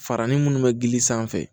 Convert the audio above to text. Farani munnu be gili sanfɛ